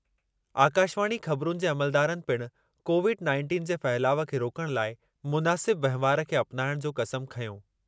आकाशवाणी ख़बिरुनि जे अमलदारनि पिण कोविड नाइंटिन जे फहिलाउ खे रोकण लाइ मुनासिब वहिंवारु खे अपनाइण जी क़समु वरिती।